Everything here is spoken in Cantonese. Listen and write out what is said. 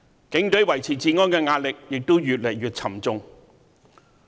警隊維持治安的壓力，越來越沉重。